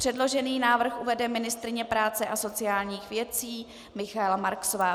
Předložený návrh uvede ministryně práce a sociálních věcí Michaela Marksová.